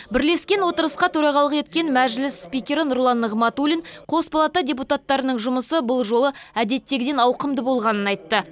бірлескен отырысқа төрағалық еткен мәжіліс спикері нұрлан нығматулин қос палата депутаттарының жұмысы бұл жолы әдеттегіден ауқымды болғанын айтты